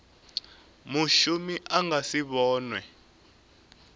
mushumi a nga si vhonwe